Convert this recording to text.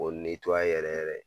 K'o yɛrɛ yɛrɛ